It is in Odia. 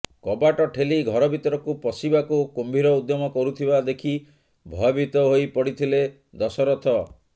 କବାଟ ଠେଲି ଘର ଭିତରକୁ ପଶିବାକୁ କୁମ୍ଭୀର ଉଦ୍ୟମ କରୁଥିବା ଦେଖି ଭୟଭୀତ ହୋଇ ପଡିଥିଲେ ଦଶରଥ